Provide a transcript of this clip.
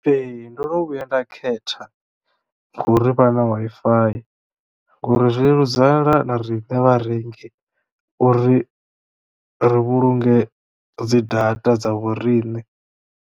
Ee ndo no vhuya nda khetha ngouri vha na Wi-Fi ngori zwileludzela na riṋe vharengi uri ri vhulunge dzi data dza vhoriṋe.